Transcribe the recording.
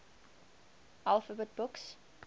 alphabet books